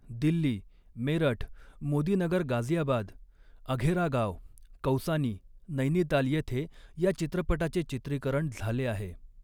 दिल्ली, मेरठ, मोदीनगर गाझियाबाद, अघेरा गाव, कौसानी, नैनीताल येथे या चित्रपटाचे चित्रीकरण झाले आहे.